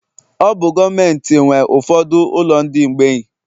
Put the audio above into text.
Ọ bụ gọọmentị nwe ụfọdụ ụlọ ndị mgbei